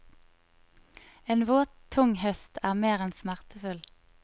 En våt, tung høst er mer enn smertefull.